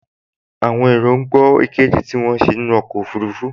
Àwọn èrò ń gbọ́ ìkéde tí wọ́n ń ṣe nínú ọkọ̀ ọfurufú